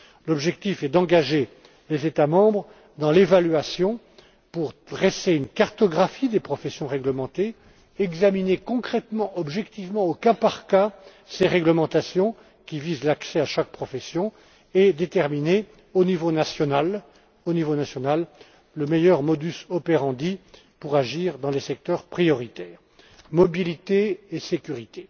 L'objectif est d'engager les États Membres dans une évaluation visant à dresser une cartographie des professions règlementées, examiner concrètement, objectivement, au cas par cas, ces règlementations qui visent l'accès à chaque profession et déterminer, au niveau national, le meilleur modus operandi pour agir dans les secteurs prioritaires, la mobilité et la sécurité.